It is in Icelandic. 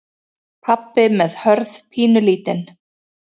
Pabbi með Hörð pínulítinn.